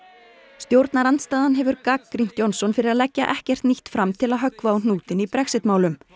stjórnarandstaðan hefur gagnrýnt Johnson fyrir að leggja ekkert nýtt fram til að höggva á hnútinn í Brexit málum